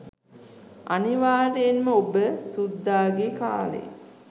අනිවාර්යෙන්ම ඔබ සුද්දාගේ කාලේ